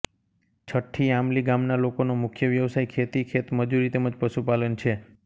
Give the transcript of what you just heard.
છઠ્ઠી આમલી ગામના લોકોનો મુખ્ય વ્યવસાય ખેતી ખેતમજૂરી તેમ જ પશુપાલન છે